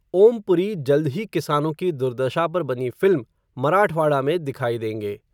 ओम पुरी जल्द ही किसानों की दुर्दशा पर बनी फ़िल्म, मराठवाड़ा में दिखाईं देंगे.